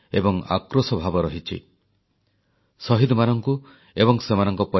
ପୁଲୱାମାର ଆତଙ୍କବାଦୀ ଆକ୍ରମଣରେ ବୀର ଯବାନମାନଙ୍କ ବଳିଦାନ ପରେ ସମଗ୍ର ଦେଶର ଲୋକଙ୍କ ମନରେ ଆଘାତ ଏବଂ ଆକ୍ରୋଶ ଭାବ ରହିଛି